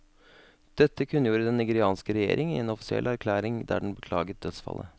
Dette kunngjorde den nigerianske regjeringen i en offisiell erklæring der den beklaget dødsfallet.